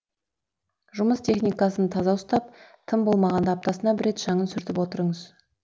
жұмыс техникасын таза ұстап тым болмағанда аптасына бір рет шаңын сүртіп отырыңыз